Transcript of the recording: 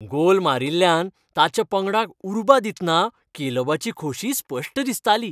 गोल मारिल्ल्यान ताच्या पंगडाक उर्बा दितना कॅलेबाची खोशी स्पश्ट दिसताली.